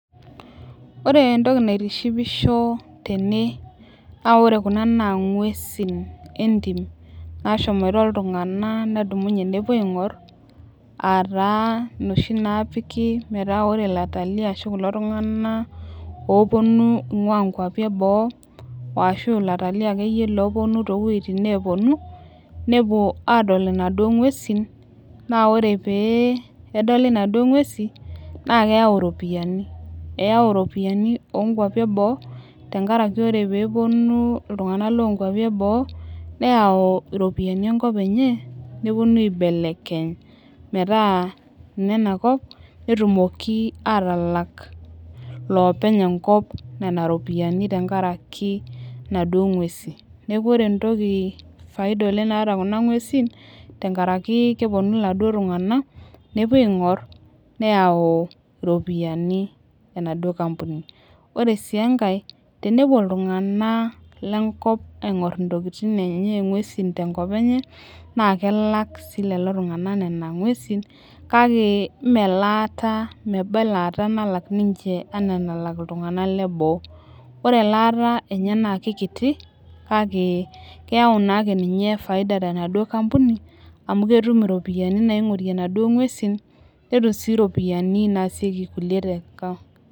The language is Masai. Ore entoki naitishipisho tene naa ore Kuna naa ng'uesin entim, nashomoito iltunganak nedumunye nepuo aing'or aa taa inoshi naatali.aa ore kulo tunganak oopuonu ing'ua nkuapi eboo. ashu ilatalii akeyie loopuonu too wuejitin nepuonu. nepuo aadol inaduoo ng'uesin. naa ore pee edoli inaduoo ng'uesin, naa keyau iropiyiani. eyau iropiyiani oo nkuapi eboo. tenkaraki ore pee epuonu iltunganak loo nkuapi eboo. ore aayau iropiyiani enkop enye, nepuonu aibelekeny metaa ine na kop netumoki aatalak, loopeny enkop Nena ropiyiani tenkaraki inaduoo ng'uesin. neeku ore faida oleng naata Kuna nguesin tenkaraki kepuonu iladuo tunganak nepuonu aaingor, neyau iropiyiani enaduoo kampuni. ore sii enkae tenepuoi iltunganak lenkop aingor ntokitin enye nguesi tenkopa enye naa kelak sii lelo tunganak kake meba ekaata nalak ninche anaa enalak iltunganak leboo. ore elaata enye naa kikiti kake keyau naa ake ninye faida tenaduoo kampuni amu ketum iropiyiani naaingorie inaduoo nguesi netum sii iropiyiani naasishoreki